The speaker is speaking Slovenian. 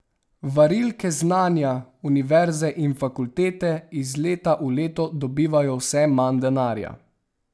Varilke znanja, univerze in fakultete, iz leta v leto dobivajo vse manj denarja.